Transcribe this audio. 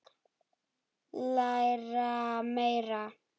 Læra meira?